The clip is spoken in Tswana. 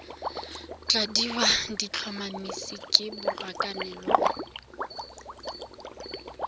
tladiwa di tlhomamisiwa ke borakanelo